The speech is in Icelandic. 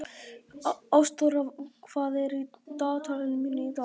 Ástþóra, hvað er í dagatalinu mínu í dag?